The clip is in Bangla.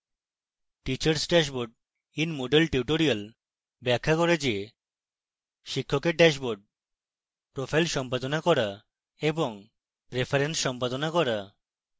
teachers dashboard in moodle tutorial ব্যাখ্যা করে যে